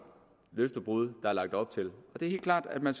løftebrud der er lagt op til og det er helt klart at man